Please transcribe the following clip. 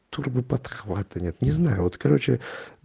турбо подхвата нет не знаю вот короче